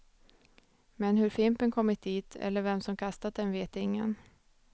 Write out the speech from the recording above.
Men hur fimpen kommit dit, eller vem som kastat den vet ingen.